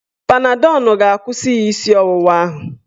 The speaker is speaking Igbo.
Panadọl ga-akwụsị ya isi ọwụwa ahụ.